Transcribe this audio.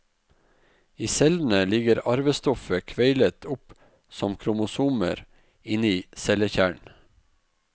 I cellene ligger arvestoffet kveilet opp som kromosomer inni cellekjernen.